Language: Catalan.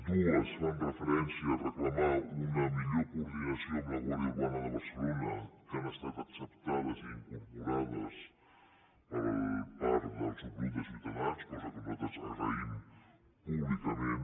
dues fan referència a reclamar una millor coordinació amb la guàrdia urbana de barcelona que han estat acceptades i incorporades per part del subgrup ciutadans cosa que nosaltres agraïm públicament